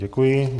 Děkuji.